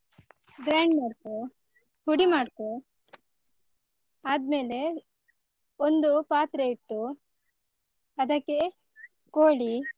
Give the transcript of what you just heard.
grind ಮಾಡ್ಕೋ, ಪುಡಿ ಮಾಡ್ಕೋ ಆದ್ಮೇಲೆ ಒಂದು ಪಾತ್ರೆ ಇಟ್ಟು ಅದಕ್ಕೆ, ಕೋಳಿ.